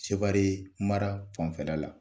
Seware mara fanfɛla la.